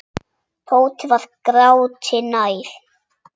Tóti var gráti nær.